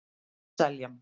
Seljan